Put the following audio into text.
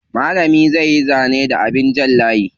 Malamin zai yi zane da abin jan layi.